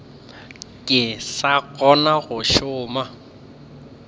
ke sa kgona go šoma